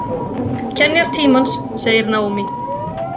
Kenjar tímans, segir Naomi.